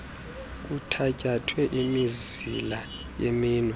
kuthatyathwe imizila yeminwe